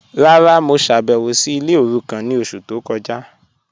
Rárá, mo ṣábẹwò sí ilẹ̀ orúkàn ni ọṣù tó kọja..